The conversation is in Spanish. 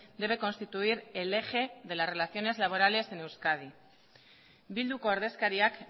debe constituir el eje de las relaciones laborales en euskadi bilduko ordezkariak